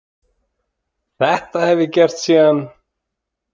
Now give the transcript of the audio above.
Þetta hef ég gert síðan.